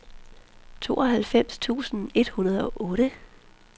tooghalvfems tusind et hundrede og otte